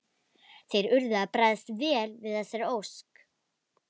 Þeir urðu að bregðast vel við þessari ósk.